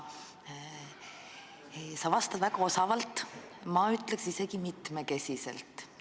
Sa vastad väga osavalt, ma ütleksin isegi: mitmekesiselt.